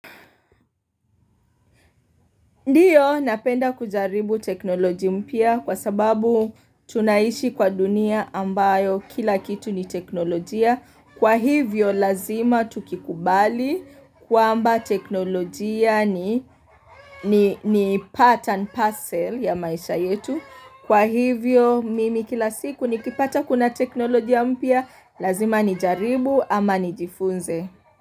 Ndio napenda kujaribu teknolojia mpya kwa sababu tunaishi kwa dunia ambayo kila kitu ni teknolojia. Kwa hivyo lazima tukikubali kwamba teknolojia ni part and parcel ya maisha yetu. Kwa hivyo mimi kila siku nikipata kuna teknolojia mpya lazima nijaribu ama nijifunze.